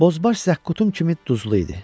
Bozbaş zəqqutun kimi duzlu idi.